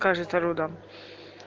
кажется люда